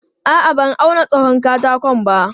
A'a, ban auna tsawon katakon ba.